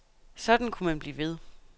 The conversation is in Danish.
Sådan kunne man blive ved.